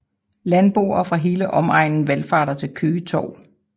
Landboerne fra hele omegnen valfarter til Køge Torv